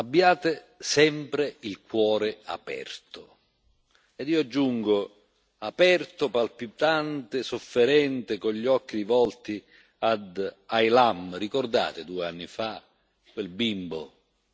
Ed io aggiungo aperto, palpitante, sofferente, con gli occhi rivolti ad Aylan. Ricordate, due anni fa, quel bimbo, un punto nero in un'immensa distesa di spiaggia...